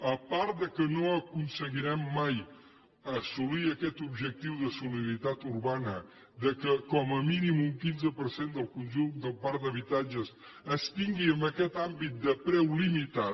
a part que no aconseguirem mai assolir aquest objectiu de solidaritat urbana que com a mínim un quinze per cent del conjunt del parc d’habitatges es tingui en aquest àmbit de preu limitat